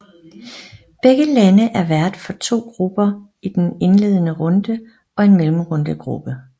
Begge lande er vært for to grupper i den indledende runde og en mellemrundegruppe